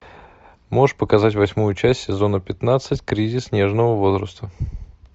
можешь показать восьмую часть сезона пятнадцать кризис нежного возраста